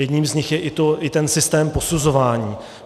Jedním z nich je i ten systém posuzování.